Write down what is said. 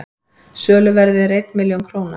söluverðið er einn milljón króna